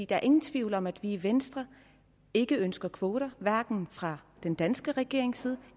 der er ingen tvivl om at vi i venstre ikke ønsker kvoter hverken fra den danske regerings side